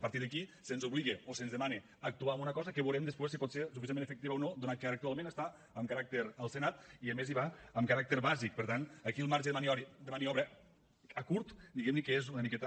a partir d’aquí se’ns obliga o se’ns demana actuar en una cosa que veurem després si pot ser suficientment efectiva o no donat que ara actualment està en caràcter al senat i a més hi va amb caràcter bàsic per tant aquí el marge de maniobra a curt diguem ne que és una miqueta